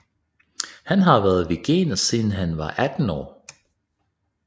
Han har været veganer siden han var 18 år